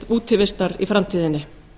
útivistar í framtíðinni